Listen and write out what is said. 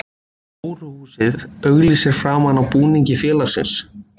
Hóruhúsið auglýsir framan á búningi félagsins.